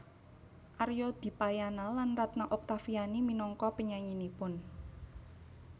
Arya Dipayana lan Ratna Octaviani minangka penyanyinipun